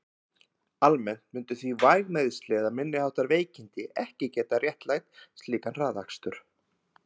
Almennt myndu því væg meiðsli eða minniháttar veikindi ekki geta réttlætt slíkan hraðakstur.